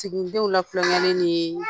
Siginidenw latulonkɛli ni